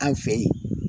An fɛ yen